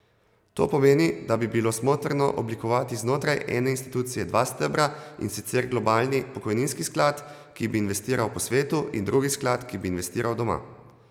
To pomeni, da bi bilo smotrno oblikovati znotraj ene institucije dva stebra, in sicer globalni pokojninski sklad, ki bi investiral po svetu, in drugi sklad, ki bi investiral doma.